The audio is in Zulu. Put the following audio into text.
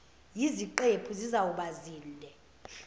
yiziqephu zizawuba zinde